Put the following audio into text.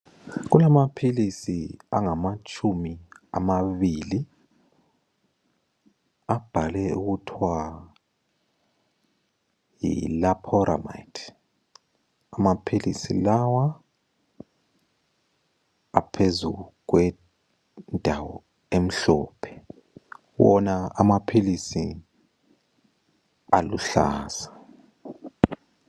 Kulamaphilisi angamatshumi amabili abhalwe okuthwa yiLoperamide. Amaphilisi lawa aphezu kwendawo emhlophe. Wona amaphilisi aluhlaza.